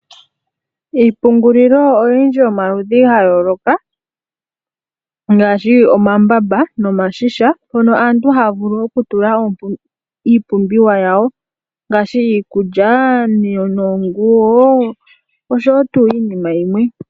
Iipungulilo oyindji yili pomaludhi gayooloka, ngaashi omambamba nomashisha, mono aantu haya vulu okutula iipumbiwa yawo, ngaashi iikulya, oonguwo, nosho tuu.